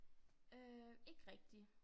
Øh ikke rigtig